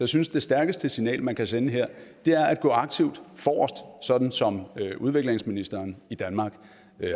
synes det stærkeste signal man kan sende her er at gå aktivt forrest sådan som udviklingsministeren i danmark